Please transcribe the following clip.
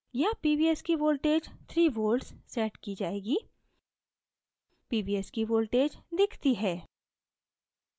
यहाँ pvs की voltage 3 volts set की जाएगी pvs की voltage दिखती है